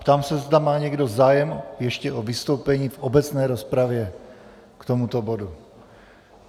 Ptám se, zda má někdo zájem ještě o vystoupení v obecné rozpravě k tomuto bodu.